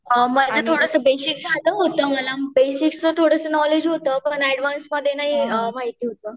अ माझे थोडंसं बेसिक झालं होतं मला बेसिकचं थोडं नॉलेज होतं पण ऍडव्हान्समध्ये नाही माहिती होतं.